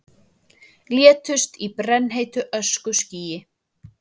Létust í brennheitu öskuskýi